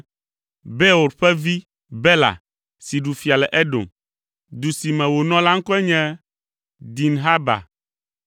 Beor ƒe vi Bela si ɖu fia le Edom. Du si me wònɔ la ŋkɔe nye Dinhaba.